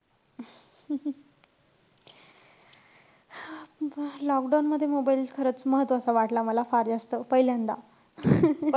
lockdown मध्ये mobile खरंच महत्वाचा वाटला मला फार जास्त, पहिल्यांदा.